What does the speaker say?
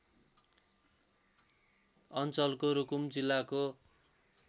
अञ्चलको रुकुम जिल्लाको